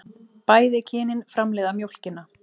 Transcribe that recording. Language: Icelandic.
Bæði kynin framleiða mjólkina.